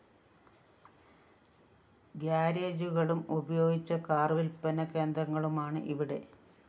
ഗ്യാരേജുകളും ഉപയോഗിച്ച കാർ വില്‍പ്പന കേന്ദ്രങ്ങളുമാണ് ഇവിടെ